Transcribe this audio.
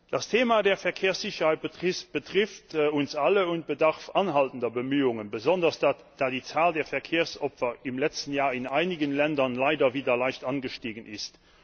Das Thema Verkehrssicherheit betrifft uns alle und bedarf anhaltender Bemühungen, besonders da die Zahl der Verkehrsopfer im letzten Jahr in einigen Ländern leider wieder leicht angestiegen ist.